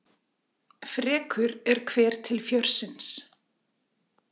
Frekur er hver til fjörsins.